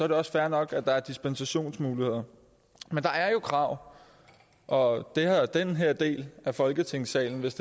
det også fair nok at der er dispensationsmuligheder men der er jo krav og det har den her del af folketingssalen hvis